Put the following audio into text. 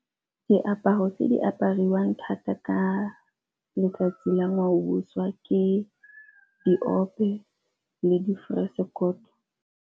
Diaparo tse di apariwang thata ka letsatsi la ngwaoboswa ke diope le di .